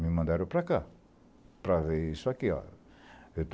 me mandaram para cá, para ver isso aqui ó.